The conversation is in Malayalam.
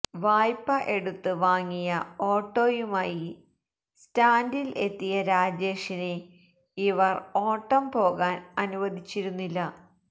വായ്പ എടുത്ത് വാങ്ങിയ ഓട്ടോയുമായി സ്റ്റാൻഡിൽ എത്തിയ രാജേഷിനെ ഇവർ ഓട്ടം പോകാൻ അനുവദിച്ചിരുന്നില്ല